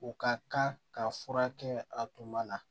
U ka kan ka fura kɛ a tuma la